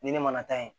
Ni ne mana taa yen